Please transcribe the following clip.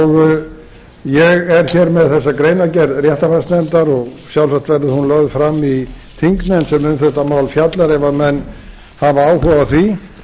ég er hér með þessa greinargerð réttarfarsnefndar og sjálfsagt verður hún lögð fram í þingnefnd sem um þetta mál fjallar ef menn hafa áhuga á því